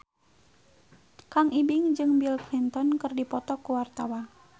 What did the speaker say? Kang Ibing jeung Bill Clinton keur dipoto ku wartawan